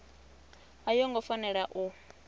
a yo ngo fanela u